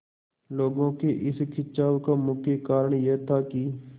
लोगों के इस खिंचाव का मुख्य कारण यह था कि